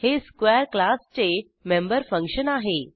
हे स्क्वेअर क्लासचे member function आहे